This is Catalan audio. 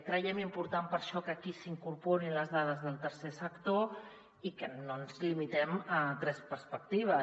creiem important per això que aquí s’hi in·corporin les dades del tercer sector i que no ens limitem a tres perspectives